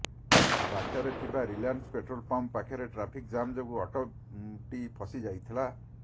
ବାଟରେ ଥିବା Reliance petrol pump ପାଖରେ ଟ୍ରାଫିକ ଜାମ୍ ଯୋଗୁଁ ଅଟୋ ଟି ଫସି ଯାଇଥିଲା